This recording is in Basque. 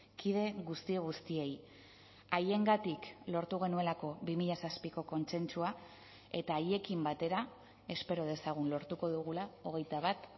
kide guzti guztiei haiengatik lortu genuelako bi mila zazpiko kontsentsua eta haiekin batera espero dezagun lortuko dugula hogeita bat